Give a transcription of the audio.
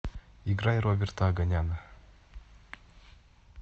играй роберта оганяна